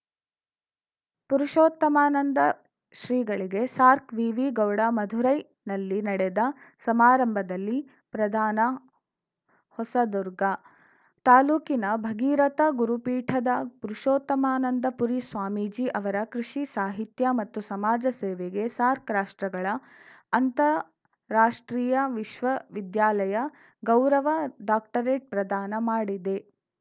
ಪುರುಷೋತ್ತಮಾನಂದ ಶ್ರೀಗಳಿಗೆ ಸಾರ್ಕ್ ವಿವಿ ಗೌಡಾ ಮಧುರೈನಲ್ಲಿ ನಡೆದ ಸಮಾರಂಭದಲ್ಲಿ ಪ್ರದಾನ ಹೊಸದುರ್ಗ ತಾಲೂಕಿನ ಭಗೀರಥ ಗುರುಪೀಠದ ಪುರುಷೋತ್ತಮಾನಂದಪುರಿ ಸ್ವಾಮೀಜಿ ಅವರ ಕೃಷಿ ಸಾಹಿತ್ಯ ಮತ್ತು ಸಮಾಜ ಸೇವೆಗೆ ಸಾರ್ಕ್ ರಾಷ್ಟ್ರಗಳ ಅಂತಾರಾಷ್ಟ್ರೀಯ ವಿಶ್ವವಿದ್ಯಾಲಯ ಗೌರವ ಡಾಕ್ಟರೇಟ್‌ ಪ್ರದಾನ ಮಾಡಿದೆ